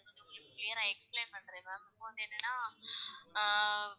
Clear ரா explain பண்றேன் ma'am இப்போ வந்து என்னென்னா ஆஹ்